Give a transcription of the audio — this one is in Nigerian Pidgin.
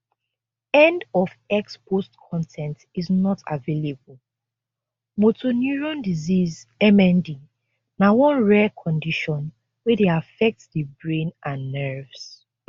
end of x post con ten t is not available motor neurone disease mnd na one rare condition wey dey affect di brain and nerves